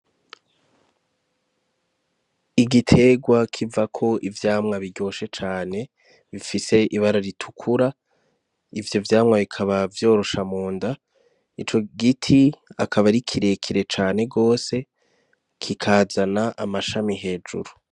Igiterwa kivako ivyamwa biryoshe cane, bifise ibara ritukura. Ivyo vyamwa bikaba vyorosha mu nda, ico giti akaba ari kirekire cane gose kikazana amashami hejuru.